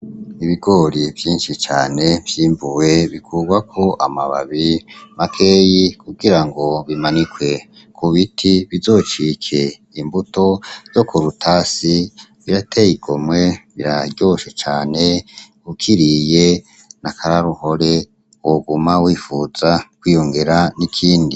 Ibigori vyinshi cane vyimbuwe. Bikugwako amababi makeyi, kugirango bimanikwe kubiti bizocike imbuto yo kurutasi. Birateye igomwe, biraryoshe cane. Ukiriye nakaroruhore woguma wipfuza kwiyongera ikindi.